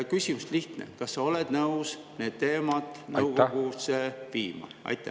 Küsimus on lihtne: kas sa oled nõus need teemad nõukogusse viima?